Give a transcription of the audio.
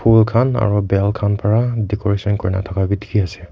Phool khan aro bell khan para decoration kurina thaka bi dekhi ase.